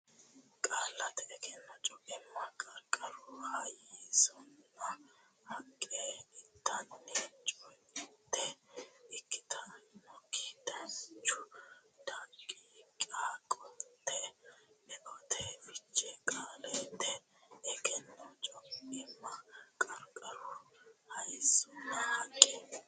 Qaallate Egenno Co imma Qarqaru Hayissonna haqqe Intanni Co itte ikkitinokki Dananchu daqiiqa Qaallate Eote Fiche Qaallate Egenno Co imma Qarqaru Hayissonna haqqe.